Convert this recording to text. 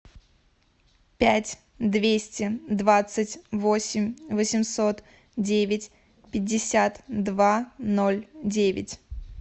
пять двести двадцать восемь восемьсот девять пятьдесят два ноль девять